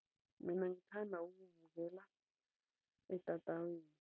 Mina ngithanda ukuwubukela etatawini.